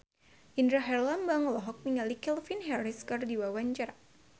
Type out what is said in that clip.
Indra Herlambang olohok ningali Calvin Harris keur diwawancara